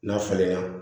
N'a falenna